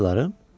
Bacıların?